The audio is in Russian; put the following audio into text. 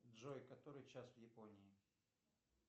джой который час в японии